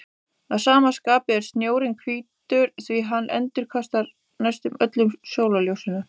Að sama skapi er snjórinn hvítur því hann endurkastar næstum öllu sólarljósinu.